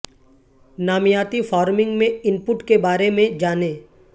نامیاتی فارمنگ میں input کے بارے میں جانیں